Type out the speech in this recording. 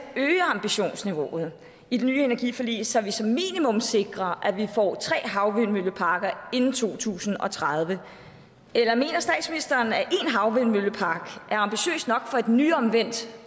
øge ambitionsniveauet i det nye energiforlig så vi som minimum sikrer at vi får tre havvindmølleparker inden 2030 eller mener statsministeren at én havvindmøllepark er ambitiøst nok for et nyomvendt